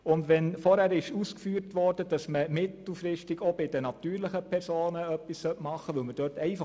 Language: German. Wenn zuvor ausgeführt wurde, dass man mittelfristig bei den natürlichen Personen etwas machen sollte, so teilen wir diese Auffassung.